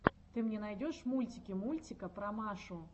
ты мне найдешь мультики мультика про машу